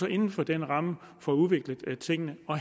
inden for den ramme får udviklet tingene og